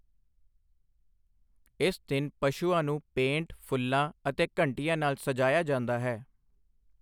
ਇਸ ਦਿਨ ਪਸ਼ੂਆਂ ਨੂੰ ਪੇਂਟ, ਫੁੱਲਾਂ ਅਤੇ ਘੰਟੀਆਂ ਨਾਲ ਸਜਾਇਆ ਜਾਂਦਾ ਹੈ।